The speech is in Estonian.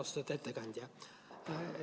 Austatud ettekandja!